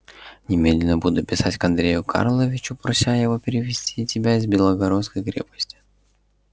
немедленно буду писать к андрею карловичу прося его перевести тебя из белогорской крепости